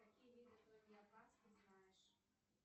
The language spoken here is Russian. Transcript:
какие виды ты знаешь